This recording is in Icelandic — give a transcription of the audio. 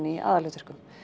í aðalhlutverkum